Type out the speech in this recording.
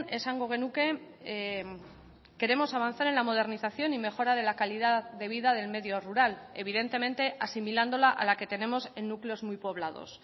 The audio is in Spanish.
esango genuke queremos avanzar en la modernización y mejora de la calidad de vida del medio rural evidentemente asimilándola a la que tenemos en núcleos muy poblados